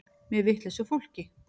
Með vitlausu fólki.